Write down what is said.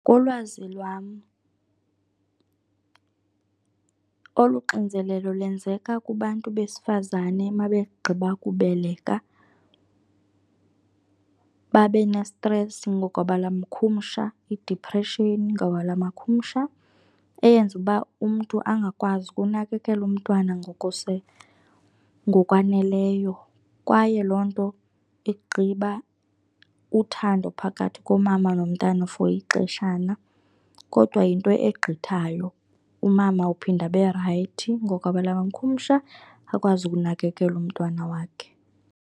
Kulwazi lwam, olu xinzelelo lwenzeka kubantu besifazane ma begqiba kubeleka babe nestresi ngokwelamakhumsha, idiphreshini ngobula makhumsha, eyenza uba umntu angakwazi ukunakekela umntwana ngokwaneleyo. Kwaye loo nto igqiba uthando phakathi komama nomntana for ixeshana. Kodwa yinto egqithayo, umama uphinde aberayithi ngokwelamakhumsha, akwazi ukunakekela umntwana wakhe.